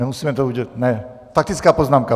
Nemusíme to udělat... ne, faktická poznámka.